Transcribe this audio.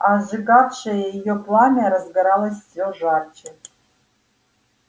а сжигавшее её пламя разгоралось все жарче